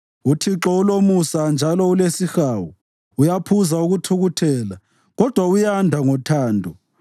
UThixo ulomusa njalo ulesihawu, uyaphuza ukuthukuthela, kodwa uyanda ngothando.